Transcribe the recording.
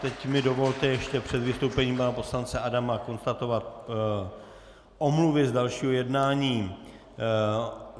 Teď mi dovolte ještě před vystoupením pana poslance Adama konstatovat omluvy z dalšího jednání.